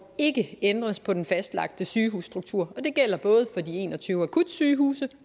ikke ændres på den fastlagte sygehusstruktur og det gælder både for de en og tyve akutsygehuse